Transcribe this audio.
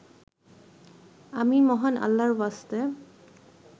আমি মহান আল্লাহরওয়াস্তে